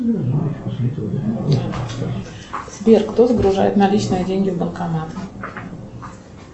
сбер кто загружает наличные деньги в банкомат